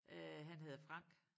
Øh han hedder Frank